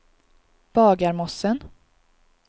Bagarmossen